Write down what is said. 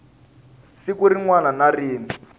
siku rin wana na rin